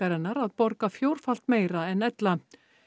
hennar að borga fjórfalt meira en ella